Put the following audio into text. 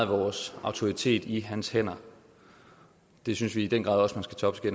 vores autoritet i hans hænder det synes vi i den grad også